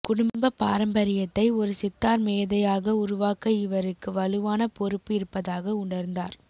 குடும்பப் பாரம்பரியத்தை ஒரு சித்தார் மேதையாக உருவாக்க இவருக்கு வலுவான பொறுப்பு இருப்பதாக உணர்ந்தார்